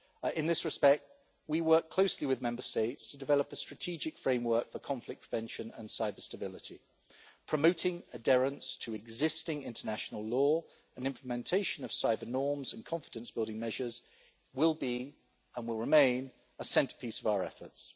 In this respect, we work closely with Member States to develop a strategic framework for conflict prevention and cyber-stability, promoting adherence to existing international law and implementation of cyber-norms and confidence-building measures are, and will remain, a centrepiece of our efforts.